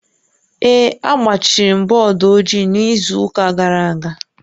Ee, agbachiri m bọọdụ ojii n'izu ụka gara aga